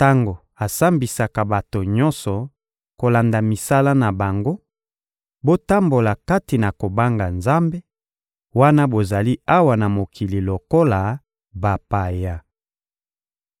tango asambisaka bato nyonso kolanda misala na bango, botambola kati na kobanga Nzambe, wana bozali awa na mokili lokola bapaya.